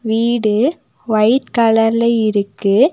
வீடு ஒயிட் கலர்ல இருக்கு.